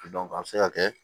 a bɛ se ka kɛ